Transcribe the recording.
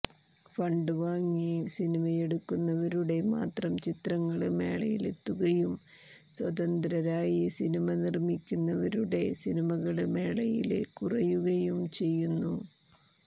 fund വാങ്ങി സിനിമയെടുക്കുന്നവരുടെ മാത്രം ചിത്രങ്ങള് മേളയിലെത്തുകയും സ്വതന്ത്രരായി സിനിമ നിര്മ്മിക്കുന്നവരുടെ സിനിമകള് മേളയില് കുറയുകയും ചെയ്യുന്നു